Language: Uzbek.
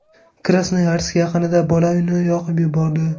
Krasnoyarsk yaqinida bola uyni yoqib yubordi.